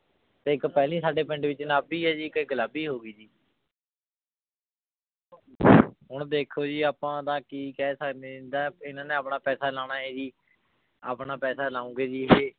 ਤੇ ਏਇਕ ਪਹਲੀ ਸਾਡੇ ਪਿੰਡ ਚ ਗੁਲਾਬੀ ਆਯ ਜੀ ਏਇਕ ਗੁਲਾਬੀ ਹੋਗੀ ਹੁਣ ਦੇਖੋ ਜੀ ਆਪਾਂ ਤਾਂ ਕੀ ਕਹ ਸਕਦੇ ਆਂ ਜੀ ਇਨਾਂ ਨੇ ਆਪਣਾ ਪੈਸਾ ਲਾਨਾ ਜੀ ਆਪਣਾ ਪੈਸਾ ਲਾਉਣ ਗੇ ਜੀ